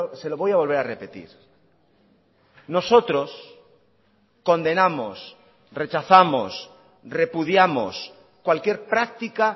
se lo voy a volver a repetir nosotros condenamos rechazamos repudiamos cualquier práctica